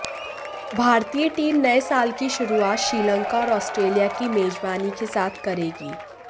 भारतीय टीम नए साल की शुरुआत श्रीलंका और ऑस्ट्रेलिया की मेजबानी के साथ करेगी